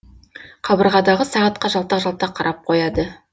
қабырғадағы сағатқа жалтақ жалтақ қарап қояды